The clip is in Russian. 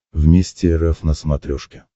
вместе эр эф на смотрешке